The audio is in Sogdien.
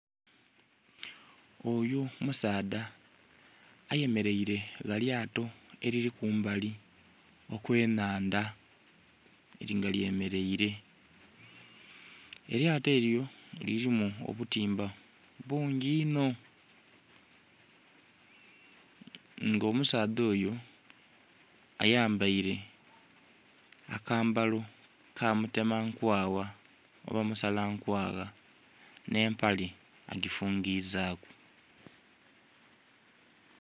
Oyo musaadha ayemeleile gha lyato elili ku mbali okw'ennhandha, nga lyemeleile. Elyato elyo lilimu obutimba bungi inho. Nga omusaadha oyo, ayambaile akambalo ka mutema nkwagha oba musala nkwagha. Nh'empale agifungizaaku.